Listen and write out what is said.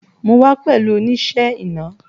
Mo wa pẹ̀lú oníṣẹ́ iná